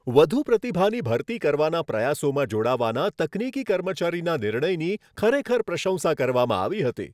વધુ પ્રતિભાની ભરતી કરવાના પ્રયાસોમાં જોડાવાના તકનીકી કર્મચારીના નિર્ણયની ખરેખર પ્રશંસા કરવામાં આવી હતી.